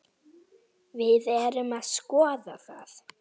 Við erum að skoða það.